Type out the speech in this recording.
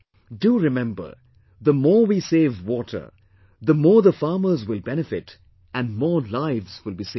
Do remember, the more we save water, the more the farmers will benefit and more lives will be saved